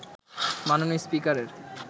মাননীয় স্পিকারের